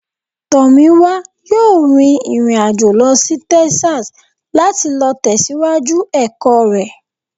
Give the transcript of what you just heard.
Tomiwa yọọ rín irín-ajọ̀ lọ sí Texas, lati lọ tẹsiwaju ẹkọ rẹ.